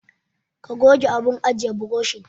Ka goge abun ajiye burushin.